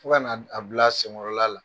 Fo ka na a bila sen kɔrɔla la.